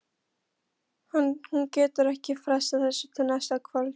Hún getur ekki frestað þessu til næsta kvölds.